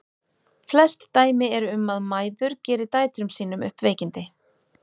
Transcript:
Flest dæmi eru um að mæður geri dætrum sínum upp veikindi.